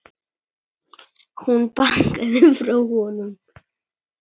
Hún bakkaði frá honum.